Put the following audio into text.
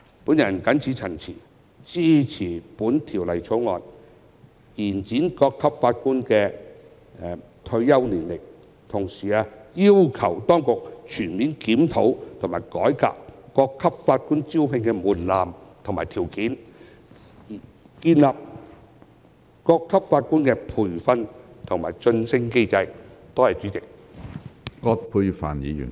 我謹此陳辭，支持《條例草案》，以延展各級法院法官的退休年齡，同時要求當局全面檢討及改革各級法院法官的招聘門檻和條件，並建立有關的培訓和晉升機制。